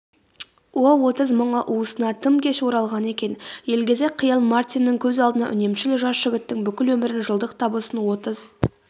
о отыз мыңы уысына тым кеш оралған екен елгезек қиял мартиннің көз алдына үнемшіл жас жігіттің бүкіл өмірін жылдық табысын отыз